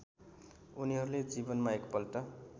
उनीहरूले जीवनमा एकपल्ट